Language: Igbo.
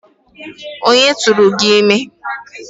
Onye tụụrụ gị ime?